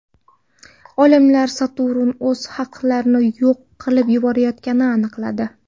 Olimlar Saturn o‘z halqalarini yo‘q qilib yuborayotganini aniqladi.